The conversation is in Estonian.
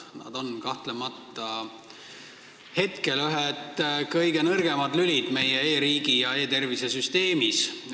Nad on praegu kahtlemata ühed kõige nõrgemad lülid meie e-riigi ja e-tervise süsteemis.